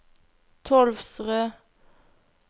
Tolvsrød